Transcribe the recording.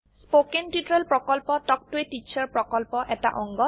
spoken tutorial প্ৰকল্প talk to a teacher প্ৰকল্পৰ এটা অংগ